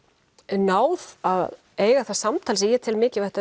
náð að eiga það samtal sem ég tel mikilvægt